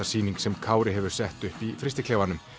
sýning sem Kári hefur sett upp í frystiklefanum